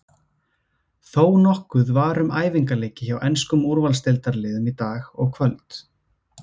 Þónokkuð var um æfingaleiki hjá enskum úrvalsdeildarliðum í dag og kvöld.